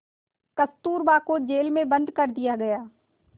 कस्तूरबा को जेल में बंद कर दिया गया